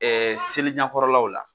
Ɛɛ seli ɲɛkɔrɔlaw la.